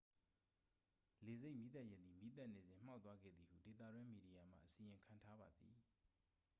လေဆိပ်မီးသတ်ယာဉ်သည် မီးသတ်နေစဉ် မှောက်သွားခဲ့သည်ဟု ဒေသတွင်းမီဒီယာမှ အစီရင်ခံထားပါသည်